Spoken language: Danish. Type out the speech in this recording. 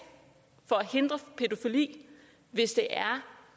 for at hindre pædofili hvis det er